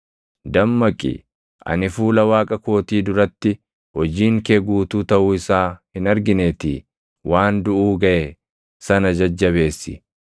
Dammaqi! Ani fuula Waaqa kootii duratti hojiin kee guutuu taʼuu isaa hin argineetii waan duʼuu gaʼe sana jajjabeessi.